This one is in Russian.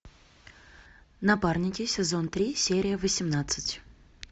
напарники сезон три серия восемнадцать